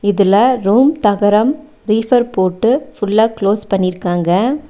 இதுல ரூம் தகரம் ரீஃபர் போட்டு ஃபுல்லா க்ளோஸ் பண்ணிருக்காங்க.